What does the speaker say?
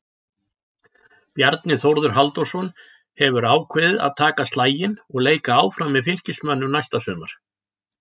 Bjarni Þórður Halldórsson hefur ákveðið að taka slaginn og leika áfram með Fylkismönnum næsta sumar.